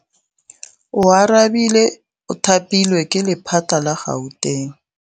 Oarabile o thapilwe ke lephata la Gauteng.